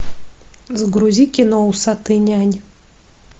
загрузи кино усатый нянь